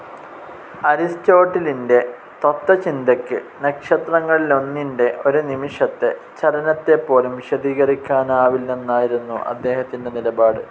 അരിസ്റ്റോട്ടിലിന്റെ തത്ത്വചിന്തയ്ക്ക് നക്ഷത്രങ്ങളിലൊന്നിന്റെ ഒരു നിമിഷത്തെ ചലനത്തെപ്പോലും വിശദീകരിക്കാനാവില്ലെന്നായിരുന്നു അദ്ദേഹത്തിന്റെ നിലപാട്.